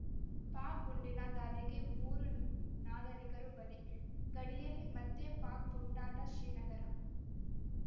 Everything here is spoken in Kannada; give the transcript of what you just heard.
ಪಾಕ್‌ ಗುಂಡಿನ ದಾಳಿಗೆ ಮೂರು ನಾಗರಿಕರು ಬಲಿ ಗಡಿಯಲ್ಲಿ ಮತ್ತೆ ಪಾಕ್‌ ಪುಂಡಾಟ ಶ್ರೀನಗರ